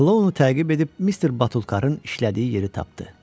Klounu təqib edib Mister Batulkarrın işlədiyi yeri tapdı.